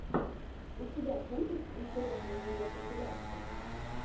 у тебя будет интересные видеокомпиляции